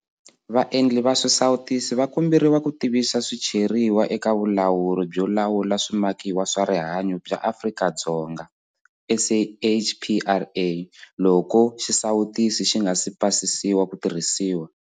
Vaendli va swisawutisi va komberiwa ku tivisa swicheriwa eka Vulawuri byo Lawula Swi makiwa swa Rihanyo bya Afrika-Dzonga, SAHPRA, loko xisawutisi xi nga si pasisiwa ku tirhisiwa.